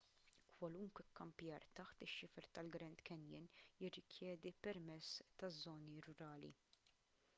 kwalunkwe kkampjar taħt ix-xifer tal-grand canyon jirrikjedi permess taż-żoni rurali